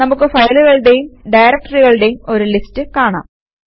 നമുക്ക് ഫയലുകളുടേയും ഡയറക്ടറികളുടേയും ഒരു ലിസ്റ്റ് കാണാം